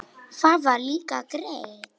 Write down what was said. Það var líka gert.